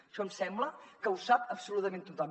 això em sembla que ho sap absolutament tothom